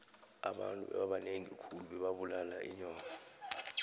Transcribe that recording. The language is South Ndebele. abantu bebabanengi khulu bebabulala inyoka